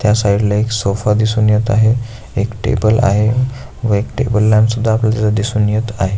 त्या साइड ला एक सोफा दिसून येत आहे एक टेबल आहे व एक टेबल लॅम्प पण दिसून येत आहे.